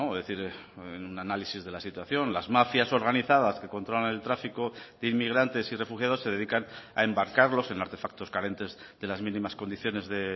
decir en un análisis de la situación las mafias organizadas que controlan el tráfico de inmigrantes y refugiados se dedican a embarcarlos en artefactos carentes de las mínimas condiciones de